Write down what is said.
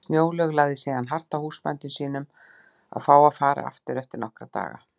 Snjólaug lagði síðan hart að húsbændum sínum að fá að fara aftur eftir nokkra daga.